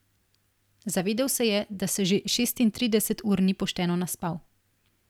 Zavedel se je, da se že šestintrideset ur ni pošteno naspal.